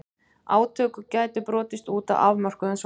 Átök gætu brotist út á afmörkuðum svæðum.